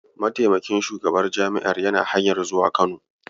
Mataimakin shugaban jami'ar yana hanyar zuwa Kano.